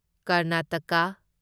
Karnataka